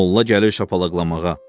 Molla gəlir şapalaqlamağa.